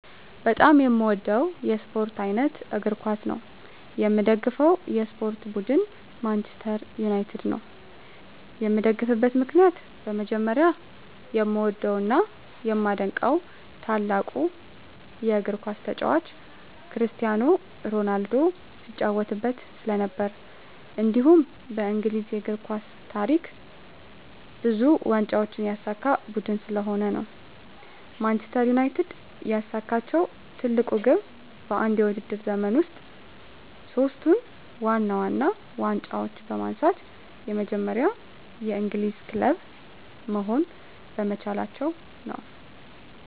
በጣም የምዎደው የስፖርት አይነት እግር ኳስ ነው። የምደግፈው የስፖርት ቡድን ማንችስተር ዩናይትድ ነው። የምደግፍበት ምክንያት በመጀመሪያ የምዎደው እና የማደንቀው ታላቁ የግር ኳስ ተጫዋች ክርስቲያኖ ሮናልዶ ሲጫዎትበት ስለነበር። እንዲሁም በእንግሊዝ የእግር ኳስ ታሪክ ብዙ ዋንጫዎችን ያሳካ ቡድን ስለሆነ ነው። ማንችስተር ዩናይትድ ያሳካችው ትልቁ ግብ በአንድ የውድድር ዘመን ውስጥ ሶስቱን ዋና ዋና ዋንጫዎች በማንሳት የመጀመሪያው የእንግሊዝ ክለብ መሆን በመቻላቸው ነው።